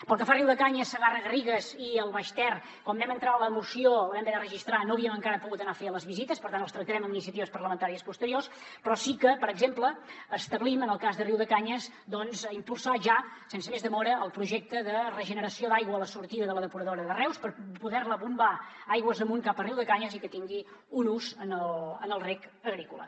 pel que fa a riudecanyes segarra garrigues i el baix ter quan vam entrar la moció la vam haver de registrar no havíem encara pogut anar a fer les visites per tant els tractarem amb iniciatives parlamentàries posteriors però sí que per exemple establim en el cas de riudecanyes doncs impulsar ja sense més demora el projecte de regeneració d’aigua a la sortida de la depuradora de reus per poder la bombar aigües amunt cap a riudecanyes i que tingui un ús en el reg agrícola